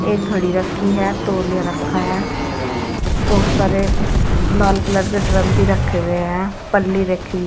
एक घड़ी रखी है तोलिया रखा है बहुत सारे लाल कलर के ड्रम भी रखे हुए हैं पल्ली रखी हुई--